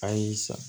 A y'i san